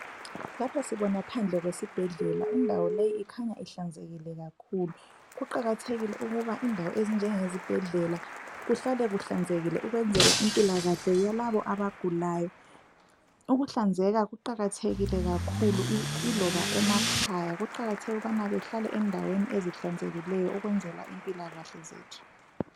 Lapha sibona phandle kwesibhedlela, indawo leyi ikhanya ihlanzekile kakhulu , kuqakathekile ukuba indawo ezinjenge zibhedlele zihlale zihlanzekile ukwenzela impilakahle yalabo abagulayo , ukuhlanzeka kuqakathekile kakhulu Iloba emakhaya , kuqakathekile ukubana behlale endaweni ezihlanzekileyo ukwenzela impilakahle zethu